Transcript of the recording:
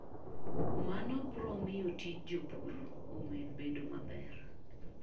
Mano biro miyo tij jopur omed bedo maber.